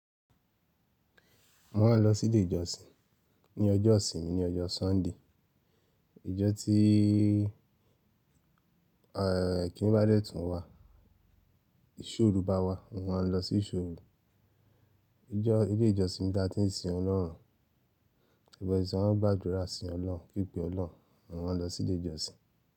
Wọ́n a lọ sí ìdè ìjọsìn. Ní ọjọ́ ìsinmi ni ọjọ́ Sunday, ijo tí ẹ́ kí n í bá dẹ́ tún wa, ìṣó òru bá wa, wọn a lọ sí ìṣó òru. Ìjọ, ilé ìjọsìn ni a ti ń sin Ọlọ́run. Gbàdúrà si ọlọrun pipe Olohun mo máà n losi ile ìjọ sin.